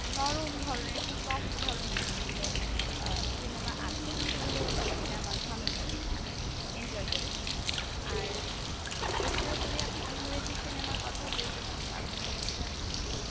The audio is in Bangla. নরম ধরণের একটু soft ধরণের যেগুলো আহ cinema আছে সেগুলো দেখতে আমার ভালো লাগে। আমি enjoy করি। আর এছাড়া যদি আপনি ইংরেজি cinema র কথা বলতে চান, তাহলে হচ্ছে আপনি